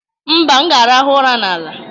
mba, m ga-arahụ ụra n'ala